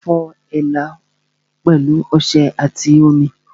Fọ èélá pẹ̀lú ọṣẹ àti omi